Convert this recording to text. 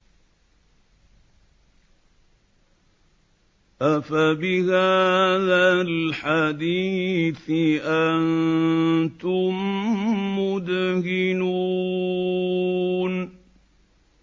أَفَبِهَٰذَا الْحَدِيثِ أَنتُم مُّدْهِنُونَ